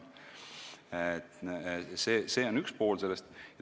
See on üks pool sellest.